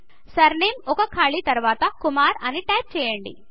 surname ఒక ఖాళీ తర్వాత కుమార్ అని టైపు చేయండి